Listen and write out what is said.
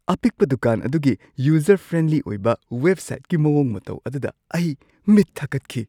ꯑꯄꯤꯛꯄ ꯗꯨꯀꯥꯟ ꯑꯗꯨꯒꯤ ꯌꯨꯖꯔ-ꯐ꯭ꯔꯦꯟꯂꯤ ꯑꯣꯏꯕ ꯋꯦꯕꯁꯥꯏꯠꯀꯤ ꯃꯑꯣꯡ ꯃꯇꯧ ꯑꯗꯨꯗ ꯑꯩ ꯃꯤꯠ ꯊꯀꯠꯈꯤ ꯫